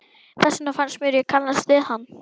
Þess vegna fannst mér ég kannast við hann.